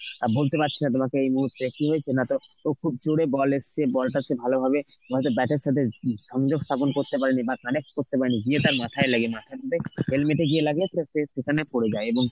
তোমাকে এই মুহূর্তে কি হয়েছে না তো খুব জোরে ball এসছে ball টা হচ্ছে ভালোভাবে নয়তো bat এর সাথে উম সংযোগ স্থাপন করতে পারিনি বা connect করতে পারেনি গিয়ে তার মাথায় লাগে মাথার মধ্যে helmet এ গিয়ে লাগলো পুরো সে সেখানে পড়ে যায় এবং